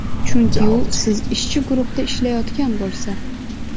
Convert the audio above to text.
Chunki u siz ishchi guruhda ishlayotgan bo‘lsa.